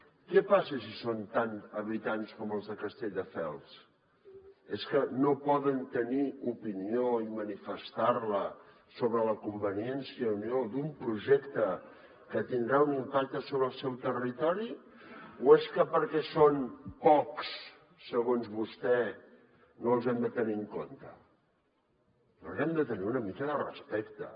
què passa si són tants habitants com els de castelldefels és que no poden tenir opinió i manifestar la sobre la conveniència o no d’un projecte que tindrà un impacte sobre el seu territori o és que perquè són pocs segons vostè no els hem de tenir en compte jo crec que hem de tenir una mica de respecte